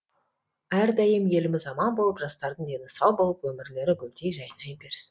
әрдайым еліміз аман болып жастардың дені сау болып өмірлері гүлдей жайнай берсін